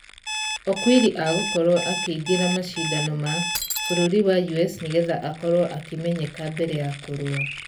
Okwiri agũkorwo akĩingĩra mashidano ma....bũrũri wa us nĩgetha akorwo akĩmenyeka mbere ya kũrũa.